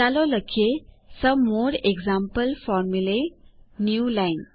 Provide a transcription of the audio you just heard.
ચાલો લખીએ some more example formulae newline